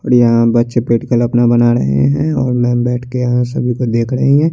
बड़िया बच्चे पेड़ अपना बना रहे है और में बेट के या सभी को देख रही है।